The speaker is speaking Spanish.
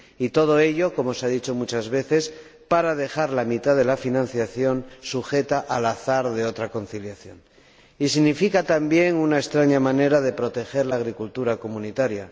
y todo ello, como se ha dicho muchas veces, para dejar la mitad de la financiación sujeta al azar de otra conciliación. Significa, también, una extraña manera de proteger la agricultura comunitaria.